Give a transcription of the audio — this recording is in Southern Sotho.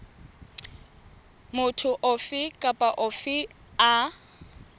motho ofe kapa ofe a